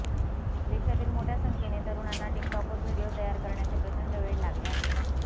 देशातील मोठ्या संख्येने तरुणांना टिकटॉकवर व्हिडिओ तयार करण्याचे प्रचंड वेड लागले आहे